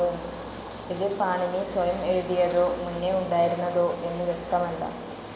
ഇത് പാണിനി സ്വയം എഴുതിയതോ, മുന്നേ ഉണ്ടായിരുന്നതോ എന്നു വ്യക്തമല്ല.